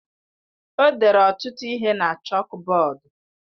O dere ọtụtụ ihe na chọkbọọdu.